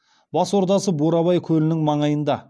бас ордасы бурабай көлінің маңайында